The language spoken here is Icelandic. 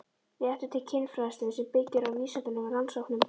Réttur til kynfræðslu sem byggir á vísindalegum rannsóknum